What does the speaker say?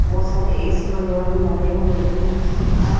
बहोत सारे ए_सी वगैरा भी लगे हुए हैं उसके बाहर --